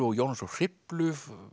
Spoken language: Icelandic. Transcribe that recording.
og Jónas frá Hriflu